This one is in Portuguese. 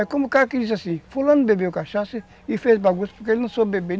É como o cara que diz assim, fulano bebeu cachaça e e fez bagunça porque ele não soube beber.